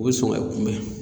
O be sɔn ka kunbɛ